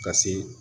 Ka se